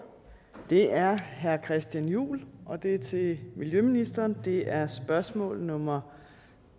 er herre christian juhl og det er til miljøministeren og det er spørgsmål nummer